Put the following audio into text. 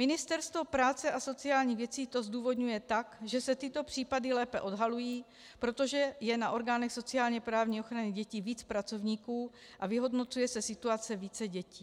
Ministerstvo práce a sociálních věcí to zdůvodňuje tak, že se tyto případy lépe odhalují, protože je na orgánech sociálně-právní ochrany dětí víc pracovníků a vyhodnocuje se situace více dětí.